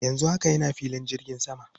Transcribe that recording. Yanzu haka ina filin jirgin sama.